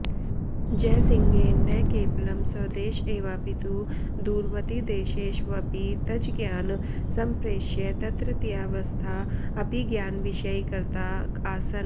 जयसिंहेन न केवलं स्वदेश एवापितु दूरवतिदेशेष्वपि तज्ज्ञान् सम्प्रेष्य तत्रत्यावस्था अपि ज्ञानविषयीकृता आसन्